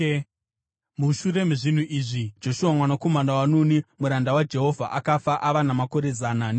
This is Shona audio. Mushure mezvinhu izvi Joshua mwanakomana waNuni, muranda waJehovha, akafa ava namakore zana negumi.